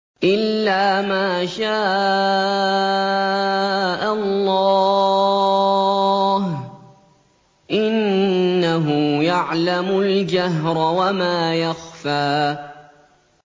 إِلَّا مَا شَاءَ اللَّهُ ۚ إِنَّهُ يَعْلَمُ الْجَهْرَ وَمَا يَخْفَىٰ